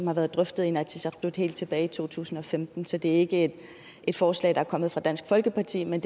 har været drøftet af inatsisartut helt tilbage i to tusind og femten så det er ikke et forslag der er kommet fra dansk folkeparti men